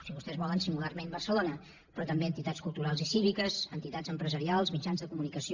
si vostès volen singularment barcelona però també entitats cultu rals i cíviques entitats empresarials mitjans de comunicació